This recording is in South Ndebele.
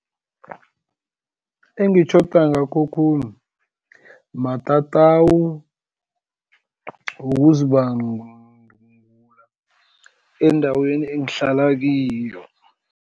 Engitjhoda ngakho khulu matatawu wokuzibandula, endaweni engihlala kiyo.